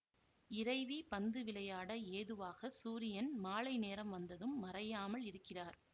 இறைவி பந்து விளையாட ஏதுவாக சூரியன் மாலை நேரம் வந்தும் மறையாமல் இருக்கிறார்